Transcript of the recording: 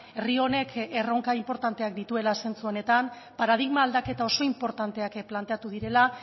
herri honek erronka inportanteak dituela zentzu honetan paradigma aldaketa oso inportanteak planteatu direla